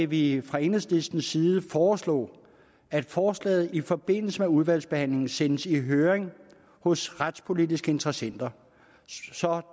vi fra enhedslistens side foreslå at forslaget i forbindelse med udvalgsbehandlingen sendes i høring hos retspolitiske interessenter så